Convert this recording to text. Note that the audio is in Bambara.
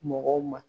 Mɔgɔw ma